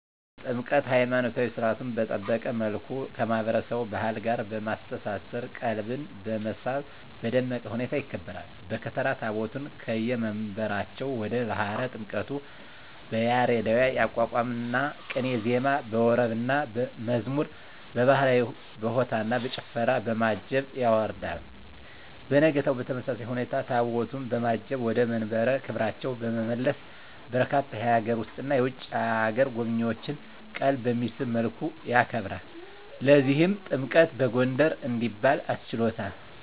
ጥምቀት!! ሀይማኖታዊ ሰርዓቱን በጠበቀ መልኩ ከማህበረሰቡ ባህል ጋር በማስተሳሰር ቀልብን በመሳብ በደመቀ ሁኔታ ይከበራል። በከተራ ታቦታቱን ከየመንበራቸው ወደ ባህረ ጥምቀቱ በያሬዳዊ የአቋቋምና ቅኔ ዜማ፣ በወረብና መዝሙር፣ በባህላዊ በሆታና በጭፈራ፣ በማጀብ ያወርዳል። በነጋታው በተመሳሳይ ሁኔታ ታቦታቱን በማጀብ ወደ መንበረ ክብራቸው በመመለስ በርካታ የሀገር ውስጥና የውጭ አገር ጎብኚዎችን ቀልብ በሚስብ መልኩ ያከብራል። ለዚህም ጥምቀትን በጎንደር እንዲባል አስችሎታል!!